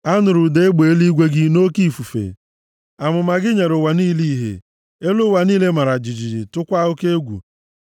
A nụrụ ụda egbe eluigwe gị nʼoke ifufe, amụma gị nyere ụwa niile ihe; elu ụwa niile mara jijiji, tụkwaa oke egwu.